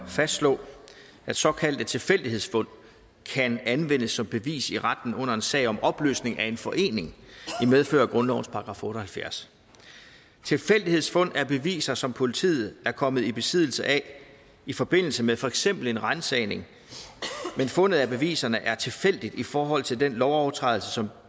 at fastslå at såkaldte tilfældighedsfund kan anvendes som bevis i retten under en sag om opløsning af en forening i medfør af grundlovens § otte og halvfjerds tilfældighedsfund er beviser som politiet er kommet i besiddelse af i forbindelse med for eksempel en ransagning men fundet af beviserne er tilfældigt i forhold til den lovovertrædelse som